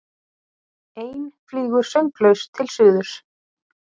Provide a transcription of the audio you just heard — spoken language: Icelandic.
Ein flýgur sönglaus til suðurs.